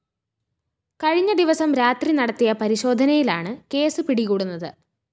കഴിഞ്ഞ ദിവസം രാത്രി നടത്തിയ പരിശോധനയിലാണ് കേസ് പിടികൂടുന്നത്